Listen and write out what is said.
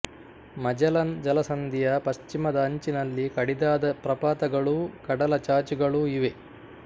Magellan ಜಲಸಂಧಿಯ ಪಶ್ಚಿಮದ ಅಂಚಿನಲ್ಲಿ ಕಡಿದಾದ ಪ್ರಪಾತಗಳೂ ಕಡಲ ಚಾಚುಗಳೂ ಇವೆ